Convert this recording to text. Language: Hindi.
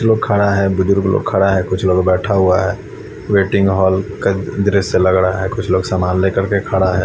लोग खड़ा है बुजुर्ग लोग खड़ा है कुछ लोग बैठा हुआ है वेटिंग हॉल का दृश्य लग रहा है कुछ लोग सामान लेकर के खड़ा है।